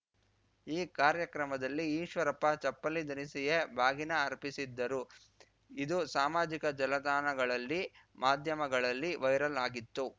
ಈ ಕಾರ್ಯಕ್ರಮದಲ್ಲಿ ಈಶ್ವರಪ್ಪ ಚಪ್ಪಲಿ ಧರಿಸಿಯೇ ಬಾಗಿನ ಅರ್ಪಿಸಿದ್ದರು ಇದು ಸಾಮಾಜಿಕ ಜಲತಾಣಗಳಲ್ಲಿ ಮಾಧ್ಯಮಗಳಲ್ಲಿ ವೈರಲ್‌ ಆಗಿತ್ತು